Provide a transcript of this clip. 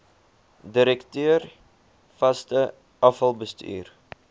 direkteur vaste afvalbestuur